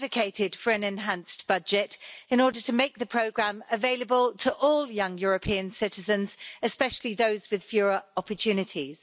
I advocated for an enhanced budget in order to make the programme available to all young European citizens, especially those with fewer opportunities.